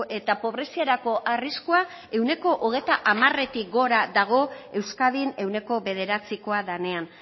eta pobreziarako arriskua ehuneko hogeita hamaretik gora dago euskadin ehuneko bederatzikoa denean